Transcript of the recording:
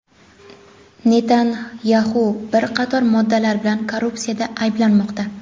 Netanyaxu bir qator moddalar bilan korrupsiyada ayblanmoqda.